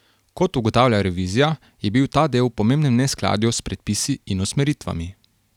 Kot ugotavlja revizija, je bil ta del v pomembnem neskladju s predpisi in usmeritvami.